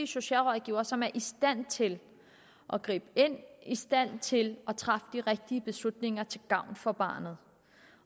socialrådgivere som er i stand til at gribe ind i stand til at træffe de rigtige beslutninger til gavn for barnet